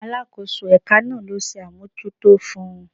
Alakoso eka naa lo se amojuto fun